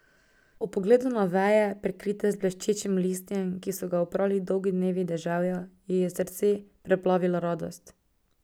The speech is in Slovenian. Ob pogledu na veje, prekrite z bleščečim listjem, ki so ga oprali dolgi dnevi deževja, ji je srce preplavila radost.